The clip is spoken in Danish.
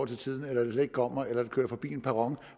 til tiden eller det slet ikke kommer eller det kører forbi en perron